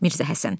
Mirzə Həsən.